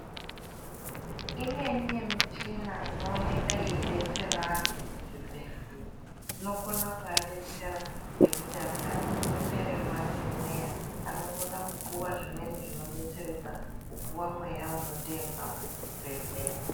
Imweni yemichina inooneka yeibetsera antu muzvibhedhleya. Inokona kuabetsera ngekuti antu anenge apererwa ngemweya anokona kupuva zvimweni zvinobetseredza kupuva mweya unotengwa vemuchibhedhleya.